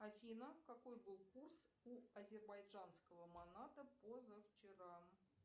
афина какой был курс у азербайджанского монада позавчера